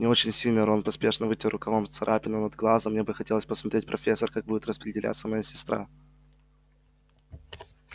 не очень сильно рон поспешно вытер рукавом царапину над глазом мне бы хотелось посмотреть профессор как будет распределяться моя сестра